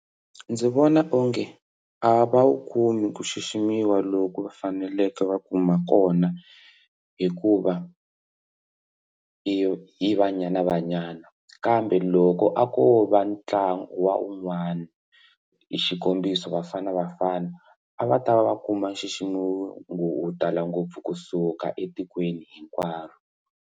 Ndzi vona onge a va va wu kumi ku xiximiwa loku va faneleke va kuma kona hikuva i Banyana Banyana kambe loko a ko va ntlangu wa un'wana xikombiso Bafana Bafana a va ta va va kuma xixima tala ngopfu kusuka etikweni hinkwaro.